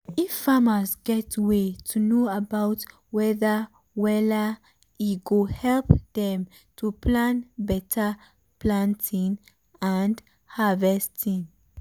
if farmers get way to know about weather wella e go help dem to plan beta planting and harvesting.